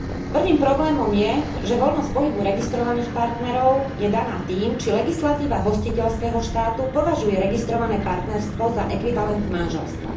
Prvým problémom je, že voľnosť pohybu registrovaných partnerov je daná tým, či legislatíva hostiteľského štátu považuje registrované partnerstvo za ekvivalent manželstva.